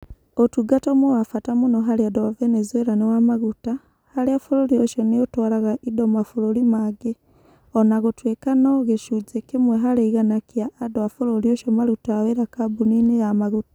Ũtungata ũmwe wa bata mũno harĩ andũ a Venezuela nĩ wa maguta, harĩa bũrũri ũcio nĩ ũtwaraga indo mabũrũri mangĩ, o na gũtuĩka no gĩcunjĩ kĩmwe harĩ igana kĩa andũ a bũrũri ũcio marutaga wĩra kambuninĩ ya maguta.